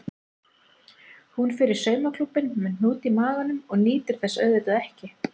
Hún fer í saumaklúbbinn með hnút í maganum og nýtur þess auðvitað ekki.